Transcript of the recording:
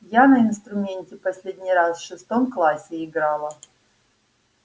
я на инструменте последний раз в шестом классе играла